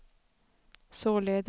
således